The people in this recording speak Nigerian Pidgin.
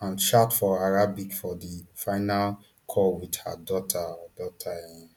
and shout for arabic for di final call wit her daughter her daughter um